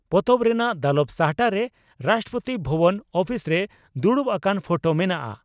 ᱯᱚᱛᱚᱵ ᱨᱮᱱᱟᱜ ᱫᱟᱞᱚᱵ ᱥᱟᱦᱴᱟᱨᱮ ᱨᱟᱥᱴᱨᱚᱯᱳᱛᱤ ᱵᱷᱚᱵᱚᱱ ᱩᱯᱤᱥᱨᱮ ᱫᱩᱲᱩᱵ ᱟᱠᱟᱱ ᱯᱷᱚᱴᱚ ᱢᱮᱱᱟᱜᱼᱟ ᱾